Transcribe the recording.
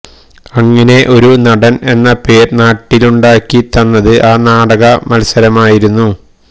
അങ്ങിനെ ഒരു നടന് എന്ന പേര് നാട്ടിലുണ്ടാക്കിതന്നത് ആ നാടക മല്സരമായിരുന്നു